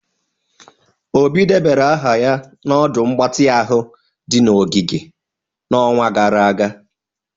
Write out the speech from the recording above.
Obi debara aha na ọdụ mgbatị ahụ di na ogige n'ọnwa gara aga.